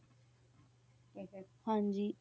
ਹਾਂਜੀ।